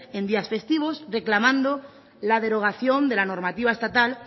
en días festivos reclamando la derogación de la normativa estatal